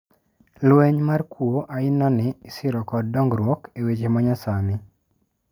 Lweny mar kuo aina ni isiro kod dongruok e weche manyasani.